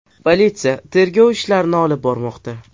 Politsiya tergov ishlarini olib bormoqda.